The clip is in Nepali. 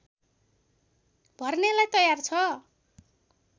भर्नेलाई तयार छ